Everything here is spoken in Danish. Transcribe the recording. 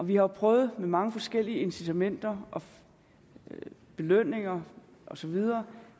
vi har jo prøvet mange forskellige incitamenter belønninger osv